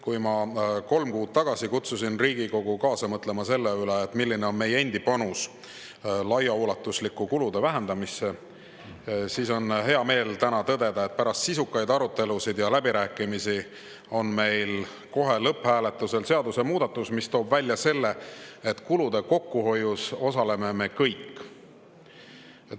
Kui ma kolm kuud tagasi kutsusin Riigikogu kaasa mõtlema selle üle, milline on meie endi panus laiaulatuslikku kulude vähendamisse, siis on hea meel täna tõdeda, et pärast sisukaid arutelusid ja läbirääkimisi on meil kohe lõpphääletusel seadusemuudatus, mis toob välja selle, et kulude kokkuhoius osaleme me kõik.